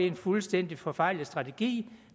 en fuldstændig forfejlet strategi